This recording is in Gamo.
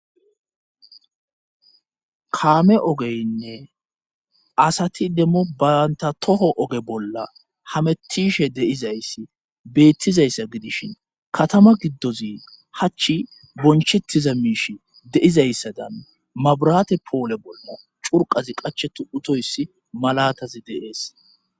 kaame ogeynne asati demmo banta toho oge bolla hametishe deizayssi beettizayssa gidishin katama giddozi hachch bonchettiza miish deizayssadan mabrate poole bolmo curqazi qache tu utoyssi malatazi de7ees